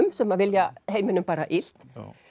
sem vilja heiminum bara illt